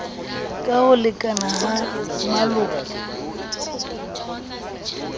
ka ho lekana ha maloko